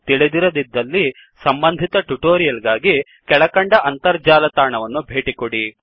ತಿಳಿದಿರದಿದ್ದಲ್ಲಿ ಸಂಬಂಧಿತ ಟ್ಯುಟೋರಿಯಲ್ ಗಾಗಿ ಕೆಳಕಂಡ ಅಂತರ್ಜಾಲ ತಾಣವನ್ನು ಭೇಟಿಕೊಡಿ